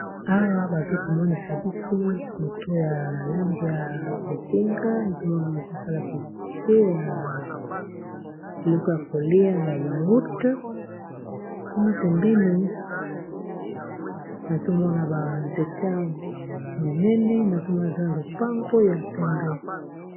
awa bazokomonisa biso moto ya lang ya bozing azomona bazosala pibilite ya biloko ya kolia ya yaurt kuna pembeni azomona banzete ya monene nazomona aza na lopango ya pembe